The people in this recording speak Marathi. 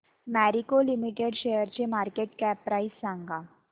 मॅरिको लिमिटेड शेअरची मार्केट कॅप प्राइस सांगा